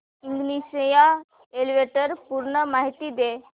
ignition या इव्हेंटची पूर्ण माहिती दे